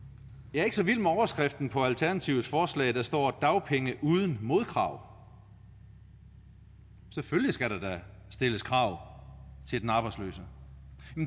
jeg er ikke så vild med overskriften på alternativets forslag der står dagpenge uden modkrav selvfølgelig skal der da stilles krav til den arbejdsløse